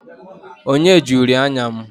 Onye ji uri anya m?